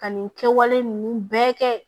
Ka nin kɛwale ninnu bɛɛ kɛ